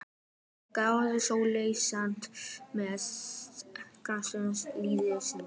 Er Guðrún Sóley sátt við frammistöðu liðsins?